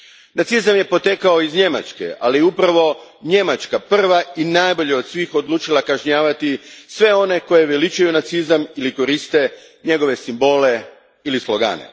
Nacizam je potekao iz Njemačke, ali upravo je Njemačka prva i najbolje od svih odlučila kažnjavati sve one koji veličaju nacizam ili koriste njegove simbole ili slogane.